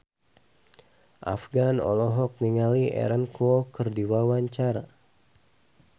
Afgan olohok ningali Aaron Kwok keur diwawancara